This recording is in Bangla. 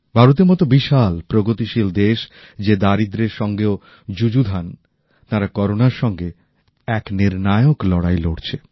ভারতের মত বিশাল প্রগতিশীল দেশ যে দারিদ্র্যের সঙ্গেও যুযুধান তারা করোনার সঙ্গে এক নির্ণায়ক লড়াই লড়ছে